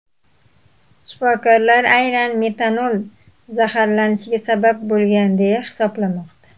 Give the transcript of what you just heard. Shifokorlar aynan metanol zaharlanishga sabab bo‘lgan, deya hisoblamoqda.